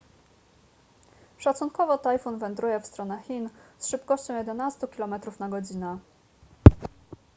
szacunkowo tajfun wędruje w stronę chin z szybkością jedenastu km / godz